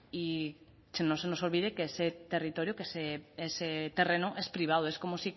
y que no se nos olvide que ese territorio que ese terreno es privado es como